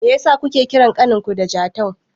Meyasa kuke kiran ƙaninku da Jatau?